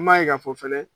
An m'a ye k'a fɔ fɛnɛ